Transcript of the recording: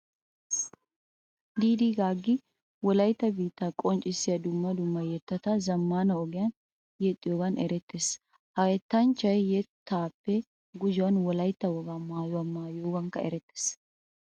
Diidii gaaggi wolaytta biittaa qonccissiya dumma dumma yettata zammaana ogiyan yexxiyogan erettees. Ha yettanchchay yettaappe gujuwan wolaytta wogaa maayuwa maayiyogankka erettees.